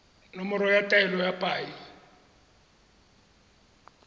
nomoro ya taelo ya paye